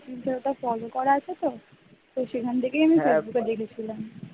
fossils ওটা flow করা আছে তো সেখান থেকেই আমি ফেসবুকে দেখেছিলাম